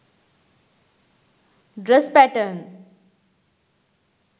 dress patten